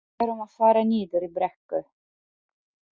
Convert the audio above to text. Við erum að fara niður í brekku.